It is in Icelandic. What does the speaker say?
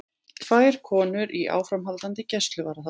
Tvær konur í áframhaldandi gæsluvarðhald